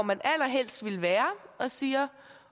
man allerhelst vil være og siger